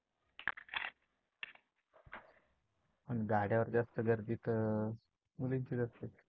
पण गाड्यावर जास्त गर्दी तर मुलींची असते.